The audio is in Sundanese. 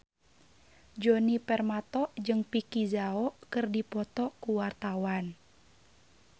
Djoni Permato jeung Vicki Zao keur dipoto ku wartawan